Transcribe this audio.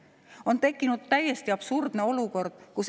On tekkinud täiesti absurdne olukord.